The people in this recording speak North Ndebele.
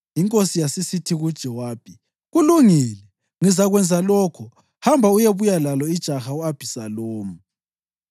Inkosi yasisithi kuJowabi, “Kulungile, ngizakwenza lokho. Hamba uyebuya lalo ijaha u-Abhisalomu.”